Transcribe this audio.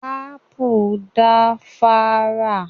Ápù da fára.